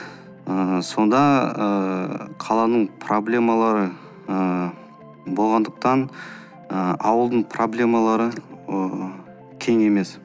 ыыы сонда ыыы қаланың проблемалары ыыы болғандықтан ы ауылдың проблемалары ы тең емес